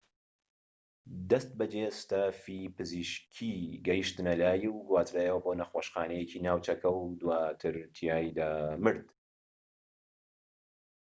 دەستبەجێ ستافی پزیشکیی گەشتنە لای و گوازرایەوە بۆ نەخۆشخانەیەکی ناوچەکە و دواتر تیایدا مرد